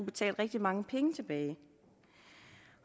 betale rigtig mange penge tilbage